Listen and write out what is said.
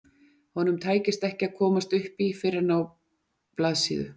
Honum tækist ekki að komast upp í fyrr en á blaðsíðu